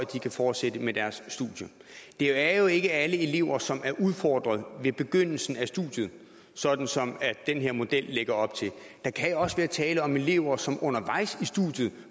at de kan fortsætte med deres studie det er jo ikke alle elever som er udfordret ved begyndelsen af studiet sådan som den her model lægger op til der kan jo også være tale om elever som undervejs i studiet